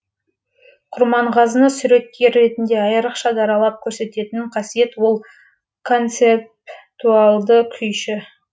құрманғазыны суреткер ретінде айрықша даралап көрсететін қасиет ол концептуалды күйші